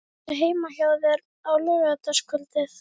Varstu heima hjá þér á laugardagskvöldið?